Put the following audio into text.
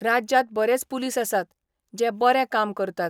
राज्यात बरेच पुलीस आसात, जे बरे काम करतात.